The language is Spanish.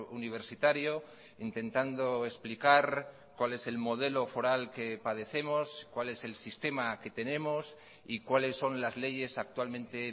universitario intentando explicar cual es el modelo foral que padecemos cual es el sistema que tenemos y cuales son las leyes actualmente